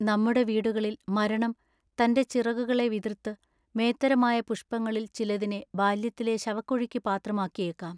നമ്മുടെ വീടുകളിൽ മരണം തന്റെ ചിറകുകളെ വിതൃത്തു മേത്തരമായ പുഷ്പങ്ങളിൽ ചിലതിനെ ബാല്യത്തിലെ ശവക്കുഴിക്കു പാത്രമാക്കിയേക്കാം.